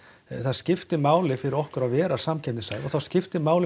það skiptir máli fyrir okkur að vera samkeppnishæf og það skiptir máli